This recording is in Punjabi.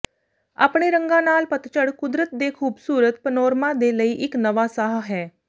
ਆਪਣੇ ਰੰਗਾਂ ਨਾਲ ਪਤਝੜ ਕੁਦਰਤ ਦੇ ਖੂਬਸੂਰਤ ਪਨੋਰਮਾ ਦੇ ਲਈ ਇਕ ਨਵਾਂ ਸਾਹ ਹੈ